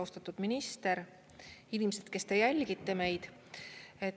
Austatud minister ja inimesed, kes te jälgite meid!